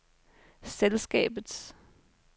selskabets